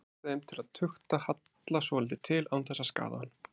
Hann treysti þeim til að tukta Halla svolítið til án þess að skaða hann.